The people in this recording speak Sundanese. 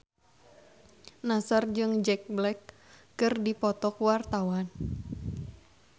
Nassar jeung Jack Black keur dipoto ku wartawan